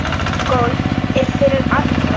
Golf er fyrir alla